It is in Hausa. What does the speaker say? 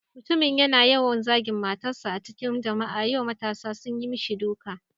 Mutumin yana yawan zagin matarsa a cikin jama'a, yau matasa sun yi mishi duka.